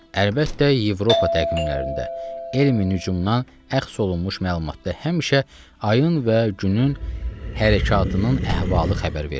Əlbəttə, Avropa təqvimlərində, elmin hücumundan əxs olunmuş məlumatda həmişə ayın və günün hərəkətinin əhvalı xəbər verilir.